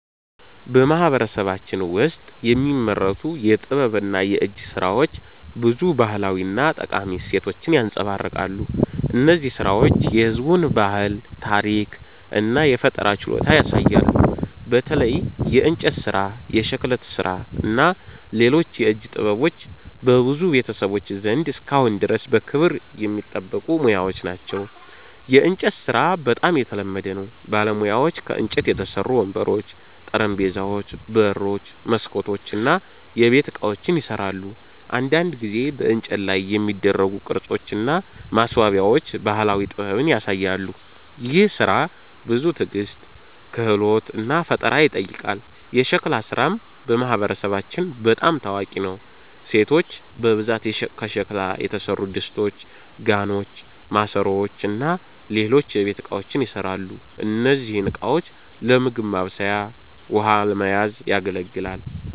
በማህበረሰባችን ውስጥ የሚመረቱ የጥበብና የእጅ ሥራዎች ብዙ ባህላዊ እና ጠቃሚ እሴቶችን ያንጸባርቃሉ። እነዚህ ሥራዎች የህዝቡን ባህል፣ ታሪክ እና ፈጠራ ችሎታ ያሳያሉ። በተለይ የእንጨት ሥራ፣ የሸክላ ሥራ እና ሌሎች የእጅ ጥበቦች በብዙ ቤተሰቦች ዘንድ እስካሁን ድረስ በክብር የሚጠበቁ ሙያዎች ናቸው። የእንጨት ሥራ በጣም የተለመደ ነው። ባለሙያዎች ከእንጨት የተሠሩ ወንበሮች፣ ጠረጴዛዎች፣ በሮች፣ መስኮቶች እና የቤት ዕቃዎችን ይሠራሉ። አንዳንድ ጊዜ በእንጨት ላይ የሚደረጉ ቅርጾች እና ማስዋቢያዎች ባህላዊ ጥበብን ያሳያሉ። ይህ ሥራ ብዙ ትዕግስት፣ ክህሎት እና ፈጠራ ይጠይቃል። የሸክላ ሥራም በማህበረሰባችን በጣም ታዋቂ ነው። ሴቶች በብዛት ከሸክላ የተሠሩ ድስቶች፣ ጋኖች፣ ማሰሮዎች እና ሌሎች የቤት እቃዎችን ይሠራሉ። እነዚህ ዕቃዎች ለምግብ ማብሰል ውሃ ለመያዝ ያገለግላል